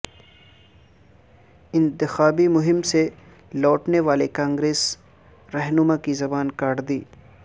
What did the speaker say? انتخابی مہم سے لوٹنے والے کانگریس رہنما کی زبان کاٹ دی